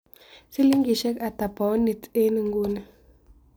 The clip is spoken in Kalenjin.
Silingisiek ata paunit eng' inguni